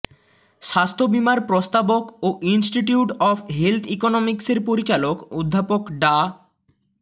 স্বাস্থ্যবীমার প্রস্তাবক ও institute of health ইকোনমিকসের পরিচালক অধ্যাপক ডা